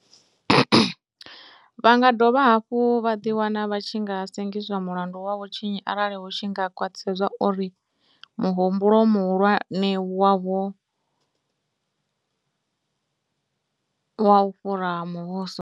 Vha nga dovha hafhu vha ḓiwana vha tshi nga sengiswa mulandu wa vhutshinyi arali hu tshi nga khwaṱhisedzwa uri muhumbulo muhulwane wovha u wa u fhura muvhuso.